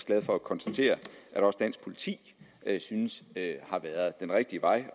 glad for at konstatere at også dansk politi synes at har været den rigtige vej